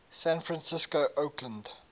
san francisco oakland